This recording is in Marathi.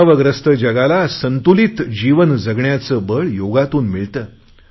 तणावग्रस्त जगाला संतुलित जीवन जगण्याचे बळ योगातून मिळते